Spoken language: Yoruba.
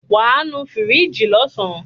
Wàá nu fíríjì lọ́sàn.